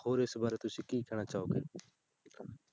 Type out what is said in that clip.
ਹੋਰ ਇਸ ਬਾਰੇ ਤੁਸੀਂ ਕੀ ਕਹਿਣਾ ਚਾਹੋਗੇ